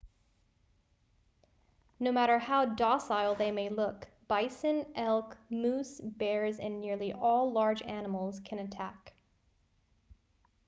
no matter how docile they may look bison elk moose bears and nearly all large animals can attack